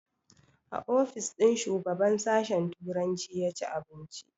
A ofis ɗin shugaban sashen turanci ya ci abinci